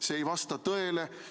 See ei vasta tõele.